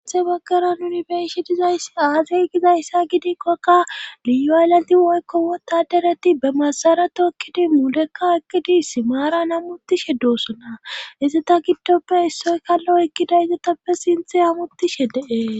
sinthe baggara nuni beishe dizayss aazey gizayssa gidikkokka liyu hayllati woykko wotadereti be masarato ekkidi muulekka ekkidi simaara n amutishe doosona izita giddoppe issoy kallo ekkida izatappe sinthe amuttishe deee